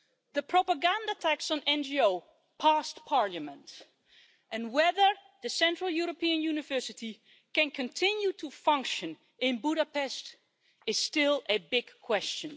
The propaganda tax on NGOs got through Parliament, and whether the Central European University can continue to function in Budapest is still a big question.